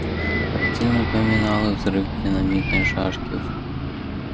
картина напоминала взрыв динамитной шашки в